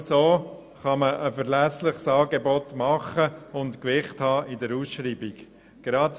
Nur so kann man ein verlässliches Angebot unterbreiten und ein entsprechendes Gewicht in der Ausschreibung erhalten.